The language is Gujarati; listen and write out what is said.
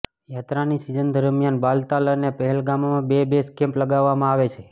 યાત્રાની સિઝન દરમિયાન બાલતાલ અને પહેલગામમાં બે બેઝ કેમ્પ લગાવવામાં આવે છે